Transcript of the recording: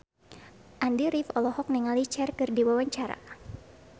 Andy rif olohok ningali Cher keur diwawancara